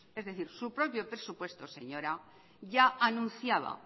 es decir su propio presupuesto señora ya anunciaba